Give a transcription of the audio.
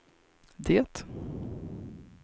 det